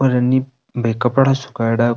और है नि बे कपडा सूखायडा --